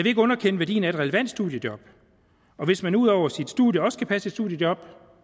ikke underkende værdien af et relevant studiejob og hvis man ud over sit studie også kan passe et studiejob